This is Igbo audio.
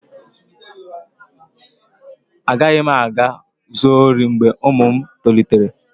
A gaghị m aga zoo ruo mgbe ụmụ m tolitere